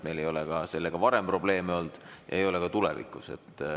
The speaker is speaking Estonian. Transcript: Meil ei ole sellega varem probleeme olnud ja ma usun, et ei ole ka tulevikus.